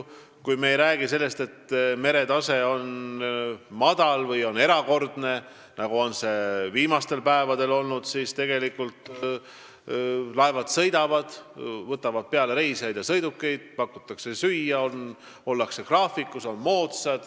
Kui me ei räägi sellest, et mere veetase on madal või erakordne, nagu see viimastel päevadel on olnud, siis laevad sõidavad, need on moodsad ja turvalised, võtavad peale reisijaid ja sõidukeid, seal pakutakse süüa ja ollakse graafikus.